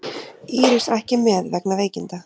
Íris ekki með vegna veikinda